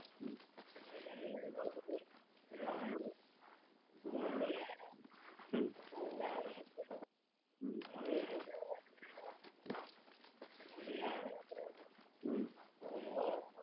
હમ હમ અમ